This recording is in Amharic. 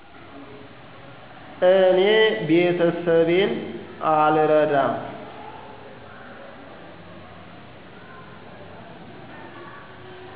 እኔ ቤተሰቤን አልረዳም።